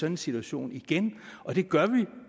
en situation igen og det gør vi